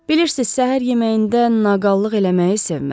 "Bilirsiniz, səhər yeməyində naqallıq eləməyi sevmirəm."